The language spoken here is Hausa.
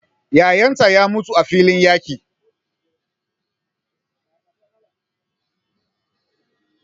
Yayan ta ya mutu a filin yaƙi.